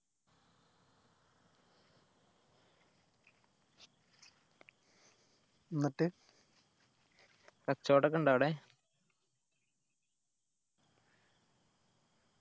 എന്നിട്ട് കച്ചോടം ഒക്കെ ഇണ്ട അവിടെ